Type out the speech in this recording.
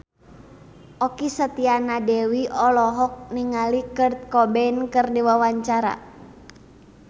Okky Setiana Dewi olohok ningali Kurt Cobain keur diwawancara